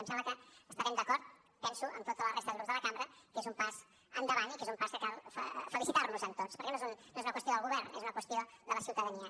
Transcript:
em sembla que estarem d’acord penso amb tota la resta de grups de la cambra que és un pas endavant i que és un pas que cal felicitar nos en tots perquè no és una qüestió del govern és una qüestió de la ciutadania